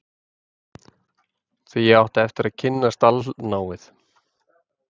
Því átti ég eftir að kynnast allnáið